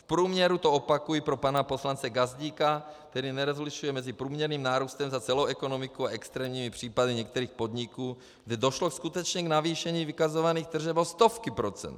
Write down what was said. V průměru, to opakuji pro pana poslance Gazdíka, který nerozlišuje mezi průměrným nárůstem za celou ekonomiku a extrémními případy některých podniků, kde došlo skutečně k navýšení vykazovaných tržeb o stovky procent.